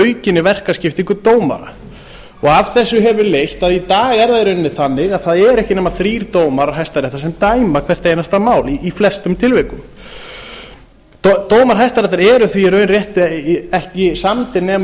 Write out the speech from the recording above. aukinni verkaskiptingu dómara af þessu hefur leitt að í dag er það í rauninni þannig að það eru ekki nema dómarar hæstaréttar sem dæma hvert einasta mál í flestum tilvikum dómar hæstaréttar eru því í raun réttri ekki samdir nema